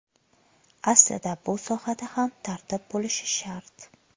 Aslida bu sohada ham tartib bo‘lishi shart.